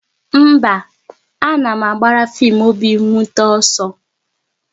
Mba, a na m agbara fim obi nwute ọsọ